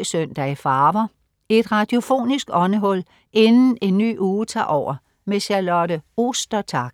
14.03 Søndag i farver. Et radiofonisk åndehul inden en ny uge tager over. Charlotte Ostertag